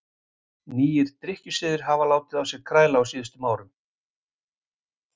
nýir drykkjusiðir hafa látið á sér kræla á síðustu árum